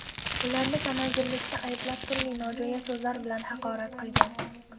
Ularni tamagirlikda ayblab, turli nojo‘ya so‘zlar bilan haqorat qilgan.